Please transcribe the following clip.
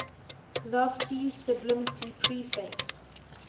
lofty sublimity preface